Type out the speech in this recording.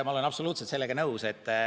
Ma olen absoluutselt nõus.